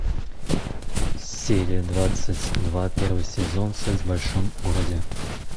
серия двадцать два первый сезон секс в большом городе